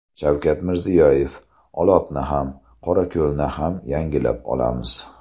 Shavkat Mirziyoyev: Olotni ham, Qorako‘lni ham yangilab olamiz.